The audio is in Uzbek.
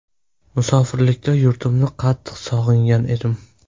Musofirlikda yurtimni qattiq sog‘ingan edim.